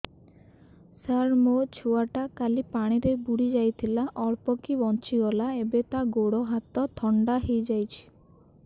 ସାର ମୋ ଛୁଆ ଟା କାଲି ପାଣି ରେ ବୁଡି ଯାଇଥିଲା ଅଳ୍ପ କି ବଞ୍ଚି ଗଲା ଏବେ ତା ଗୋଡ଼ ହାତ ଥଣ୍ଡା ହେଇଯାଉଛି